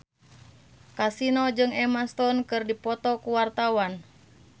Kasino jeung Emma Stone keur dipoto ku wartawan